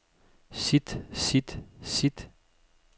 sit sit sit